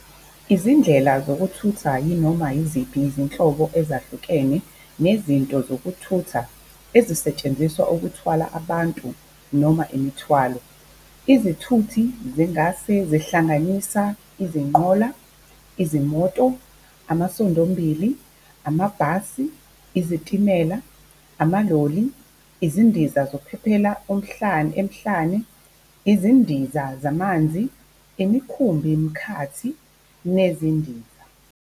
Izindlela zokuthutha yinoma yiziphi izinhlobo ezahlukene zezinto zokuthutha ezisetshenziselwa ukuthwala abantu noma imithwalo. Izithuthi zingase zihlanganisa izinqola, izimoto, amasondombili, amabhasi, izitimela, amaloli, izindiza ezinophephela emhlane, izindiza zamanzi, imikhumbi-mkhathi nezindiza.